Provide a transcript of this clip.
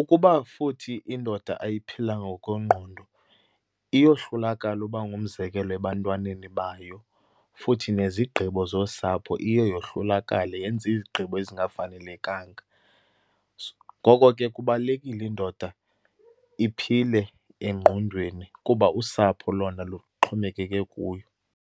Ukuba futhi indoda ayiphilanga ngokwengqondo iyohlulakala uba ngumzekelo ebantwaneni bayo. Futhi nezigqibo zosapho, iye yohlulakale, yenze izigqibo ezingafanelekanga. Ngoko ke kubalulekile indoda iphile engqondweni kuba usapho lona luxhomekeke kuyo.